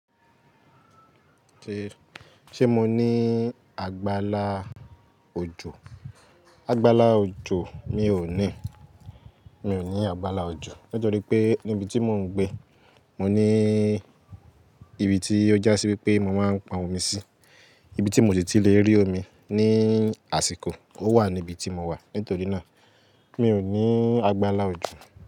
Ṣé, ṣe mo ní àgbàlá òjò? Àgbàlá òjò mi ò ní. Mi ò ní àgbàlá òjò nítorí pé níbi tí mò ń gbé, mo ní ibi tí ó já sí wípé mo máa ń pọn omi sí, ibi tí mo sì ti lè rí omi ní àsìkò. Ó wà níbi tí mo wà. Nítorí náà, mi ò ní àgbàlá òjò.